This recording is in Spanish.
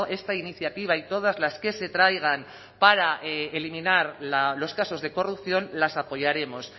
esta iniciativa y todas las que se traigan para eliminar los casos de corrupción las apoyaremos